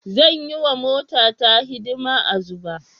Zan yi wa motata hidima a Zuba.